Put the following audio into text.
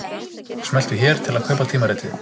Smelltu hér til að kaupa tímaritið